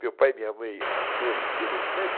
Meu pai e minha mãe achou interessante.